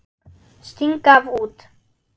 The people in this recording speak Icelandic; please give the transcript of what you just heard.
Sting gaf út.